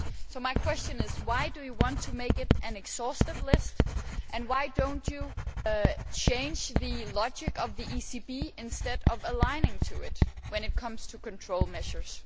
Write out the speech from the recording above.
So my question is, why do you want to make it an exhaustive list, and why do you not change the logic of the ECB instead of aligning with it when it comes to control measures?